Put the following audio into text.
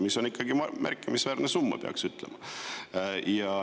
See on märkimisväärne summa, peab ütlema.